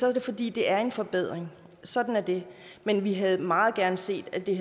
er det fordi det er en forbedring sådan er det men vi havde meget gerne set at det